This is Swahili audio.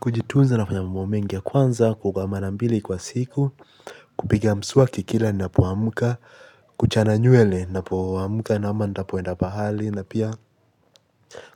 Kujitunza nafanya mambo mengi ya kwanza kuoga mara mbili kwa siku. Kupiga mswaki kila napoamuka. Kuchana nywele napoamka na ama nitapoenda pahali. Na pia